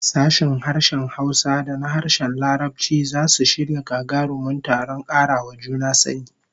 Sashen harshen Hausa da na harshen Larabci zasu shirya gagarumin taron kara wa juna sani